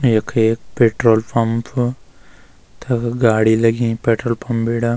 यख एक petrol pump तख गाड़ी लगीं पेट्रोल पंप बीड़ा।